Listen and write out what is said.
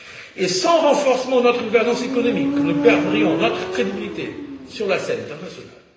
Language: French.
Et sans renforcement de notre gouvernance économique, nous perdrions notre crédibilité sur la scène internationale.